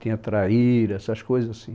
Tinha traíra, essas coisas assim.